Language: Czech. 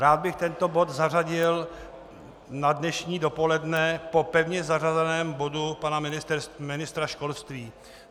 Rád bych tento bod zařadil na dnešní dopoledne po pevně zařazeném bodu pana ministra školství.